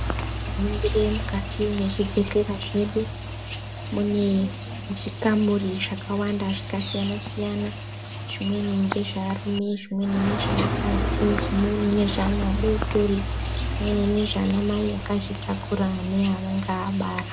Tikaringire mukati mwezvibhehlera zvedu, mune zvikamuri zvakawanda zvakasiyana-siyana. Zvimweni ngezvearume zvimweni nezveakadzai, zvimweni nezve ana adodori zvimweni nezvanamai akazvitakura neanenge abara.